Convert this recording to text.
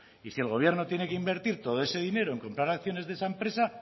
y si el gobierno tiene que invertir todo ese dinero en comprar acciones de esa empresa